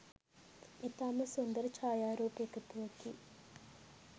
ඉතාම සුන්දර ඡායාරූප එකතුවකි.